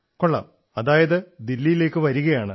വാഹ് so you are coming to Delhi